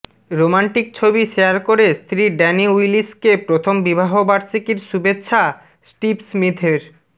romantic ছবি share করে স্ত্রী ড্যানি উইলিসকে প্রথম বিবাহবার্ষিকীর শুভেচ্ছা স্টিভ স্মিথের